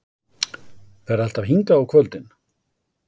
Ferðu alltaf hingað á kvöldin?